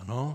Ano.